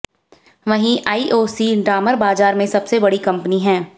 वहीं आईओसी डामर बाजार में सबसे बड़ी कंपनी है